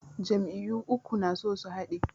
Jam'iyyu uku na so su haɗe.